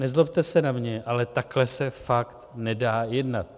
Nezlobte se na mě, ale takhle se fakt nedá jednat.